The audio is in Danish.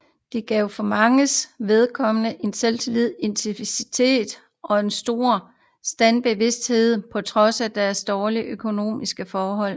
Det gav for manges vedkommende selvtillid og initiativ og en stor standsbevidshed på trods af deres dårlige økonomiske forhold